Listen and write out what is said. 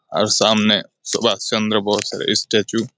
আর সামনে সুভাষচন্দ্র বোস ইস্ট্যাচু ।